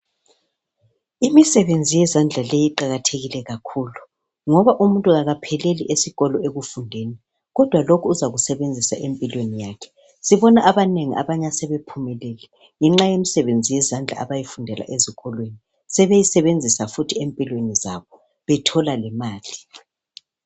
Imisebenzi wezandla leyi iqakathekile kakhulu, ngoba umuntu akapheleli esikolo ekufundeni. Kodwa lokhu uzakusebenzisa empilweni yakhe. Sibona abanengi abanye asebe phumelele ngenxa yemisebenzi yezandla abayifundela ezikolweni. Sebeyisebenzisa futhi empilweni zabo bethola lemali.